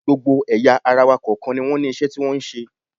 Gbogbo ẹ̀yà ara wa kọ̀ọ̀kan ni wọ́n ní iṣẹ́ tí wọ́n ń ṣe